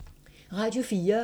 Radio 4